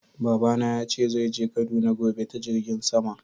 Baba na ya ce zai je Kaduna gobe ta Jirngin sama.